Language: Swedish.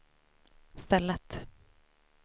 stället